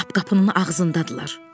Lap qapının ağzındadırlar.